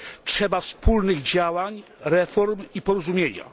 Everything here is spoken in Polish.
Trzeba wspólnych działań, reform i porozumienia.